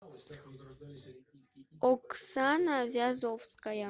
оксана вязовская